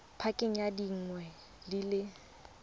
pakeng ya dingwaga di le